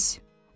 Xudahafiz.